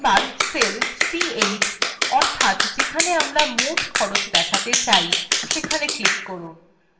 এবার cell c8 অর্থাৎ যেখানে আমরা মোট খরচ দেখাতে চাই সেখানে click করুন